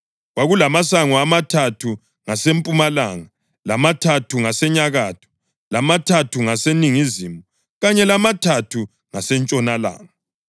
Kwakulamasango amathathu ngasempumalanga, lamathathu ngasenyakatho, lamathathu ngaseningizimu, kanye lamathathu ngasentshonalanga.